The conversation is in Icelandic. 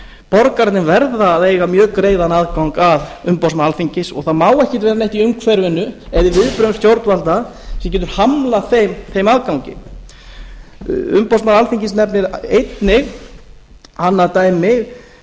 borgararnir verða að eiga mjög greiðan aðgang að umboðsmanni alþingis og það má ekki vera neitt í umhverfinu eða í viðbrögðum stjórnvalda sem getur hamlað þeim aðgangi umboðsmaður alþingis nefnir einnig annað dæmi